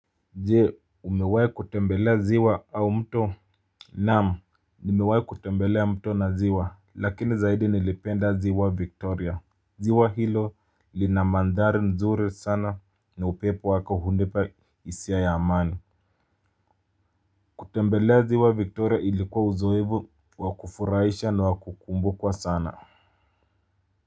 Je umewai kutembelea ziwa au mto. Naam nimewai kutembelea mto na ziwa lakini zaidi nilipenda ziwa Victoria. Ziwa hilo lina mandhari nzuri sana na upepo wako hunipa hisia ya amani. Kutembelea ziwa Victoria ilikuwa uzoevu wa kufurahisha na wakukumbukwa sana. Kwa hivyo.